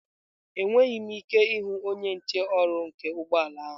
Enweghị m ike ịhụ onye nche ụrọ nke ụgbọ ala ahụ.